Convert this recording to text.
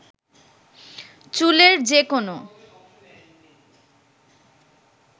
চুলের যে কোনো